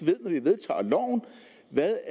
ved